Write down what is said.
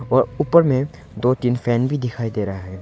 और ऊपर में दो तीन फैन भी दिखाई दे रहा है।